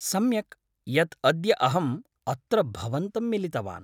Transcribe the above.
सम्यक् यत् अद्य अहम् अत्र भवन्तं मिलितवान्।